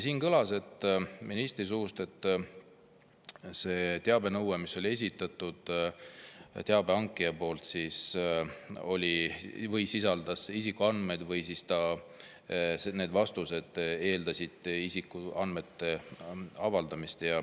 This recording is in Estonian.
Siin kõlas ministri suust, et see teabenõue, mille teabe esitas, sisaldas isikuandmeid või siis need vastused eeldasid isikuandmete avaldamist.